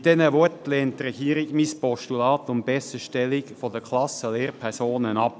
Mit diesen Worten lehnt die Regierung mein Postulat zur Besserstellung der Klassenlehrpersonen ab.